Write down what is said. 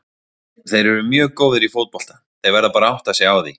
Þeir eru mjög góðir í fótbolta, þeir verða bara að átta sig á því.